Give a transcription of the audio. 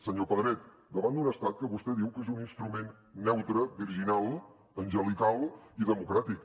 senyor pedret davant d’un estat que vostè diu que és un instrument neutre virginal angelical i democràtic